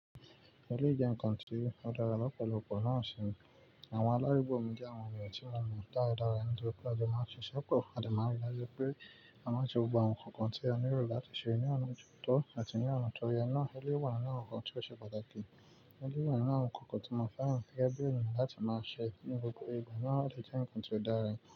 Èlé jẹ́ ǹkan tí ó dára lọ́pọ̀lọpọ̀ láàrín wọn. Àwọn alárùn gbòǹgbò mìíràn wọ́n lè rí irun dára nítorí pé a máa ń ṣe sọ́pọ̀. A dè rí i pé a máa ṣe gbogbo àwọn ǹkan tí a ní irú láti ṣe ní ọ̀nà tó tọ́ àti ní ọ̀nà tó yẹ. Ǹjẹ́ èlé wà láàárín àwọn ǹkan tí ó ṣe pàtàkì, elẹ́ na àwọn ǹkan tí màá fàyàn sí ẹgbẹ́ ìrìn láti máa ṣe ní gbogbo ìgbà náà jẹ́ ǹkan tí ó dára.